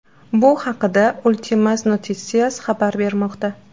Bu haqda Ultimas Noticias xabar bermoqda .